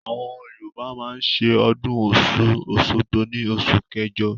Àwọn yorùbá máa ń ṣe ọdún ọ̀ṣun òṣogbo ní oṣù kẹjọ.